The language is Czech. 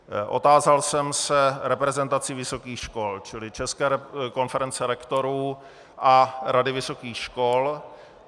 Otázal jsem se reprezentací vysokých škol, čili České konference rektorů a Rady vysokých škol.